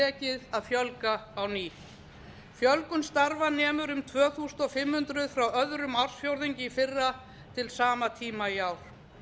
tekið að fjölga á ný fjölgun starfa nemur um tvö þúsund fimm hundruð frá öðrum ársfjórðungi í fyrra til sama tíma í ár